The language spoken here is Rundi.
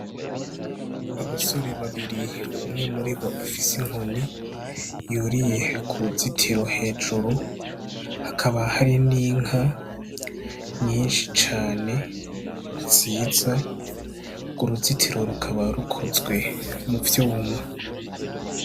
Abasore babiri, umwe muribo afise inkoni yuriye ku ruzitiro hejuru, hakaba hari n'inka nyinshi cane nziza. Urwo ruzitiro rukaba rukozwe mu vyuma.